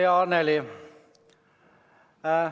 Hea Annely!